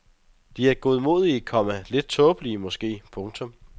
De er godmodige, komma lidt tåbelige måske. punktum